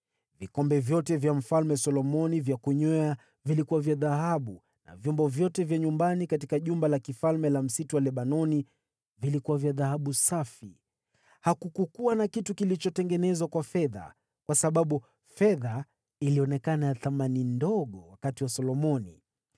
Vikombe vyote vya Mfalme Solomoni vya kunywea vilikuwa vya dhahabu na vyombo vyote vya nyumbani katika Jumba la Kifalme la Msitu wa Lebanoni vilikuwa vya dhahabu safi. Hakukuwa na kitu kilichotengenezwa kwa fedha, kwa sababu fedha ilionekana ya thamani ndogo siku za Solomoni.